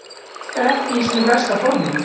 Hann virkar ekki í sínu besta formi.